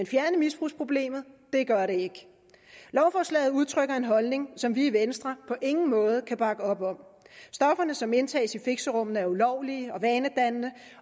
fjerne misbrugsproblemet gør det ikke lovforslaget udtrykker en holdning som vi i venstre på ingen måde kan bakke op om stofferne som indtages i fixerummene er ulovlige og vanedannende